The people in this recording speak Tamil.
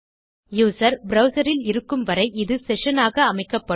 யூசர் ப்ரவ்சர் இல் இருக்கும் வரை இது செஷன் ஆக அமைக்கப்படும்